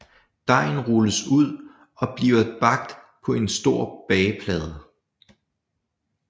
Dejen rulles ud og bliver bagt på en stor bageplade